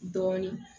Dɔɔnin